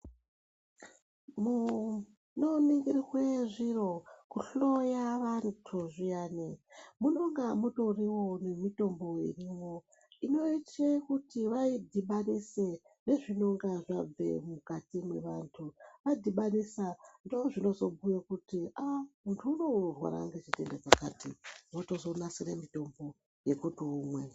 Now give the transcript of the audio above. Munoningirwe zviro, kuhloya vantu zviyani. Munonga mutoriwo nemitombo irimwo inoite kuti vaidhibanise nezvinonga zvabve mukati mwevantu. Adhibanisa ndozvinozobhuye kuti aa muntu unowu unorwara ngechirwere chakati, votozonasire mitombo yekuti umwe.